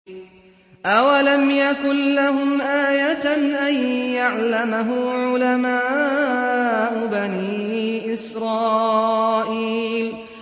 أَوَلَمْ يَكُن لَّهُمْ آيَةً أَن يَعْلَمَهُ عُلَمَاءُ بَنِي إِسْرَائِيلَ